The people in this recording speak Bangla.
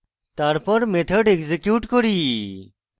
তারপর method execute করি